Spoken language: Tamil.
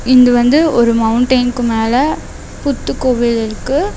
இங்க வந்து ஒரு மௌண்டைனுக்கு மேல புத்துக்கோவில் இருக்கு.